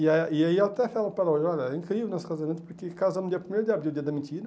E a e aí eu até falo para ela, olha, é incrível o nosso casamento porque casamos no dia primeiro de abril, dia da mentira,